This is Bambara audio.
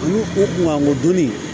An u kun ka kodɔnni